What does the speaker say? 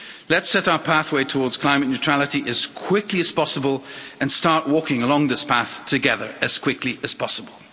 Let's set our pathway towards climate neutrality as quickly as possible and start walking along this path together as quickly as possible.